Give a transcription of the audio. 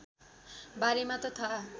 बारेमा त थाहा